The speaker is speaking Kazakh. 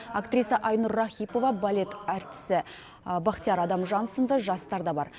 актриса айнұр рахипова балет әртісі бақтияр адамжан сынды жастар да бар